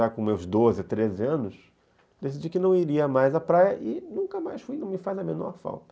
Já com meus doze, treze anos, decidi que não iria mais à praia e nunca mais fui, não me faz a menor falta.